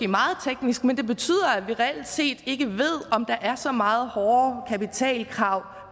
meget teknisk men det betyder at vi reelt set ikke ved om der er så meget hårdere kapitalkrav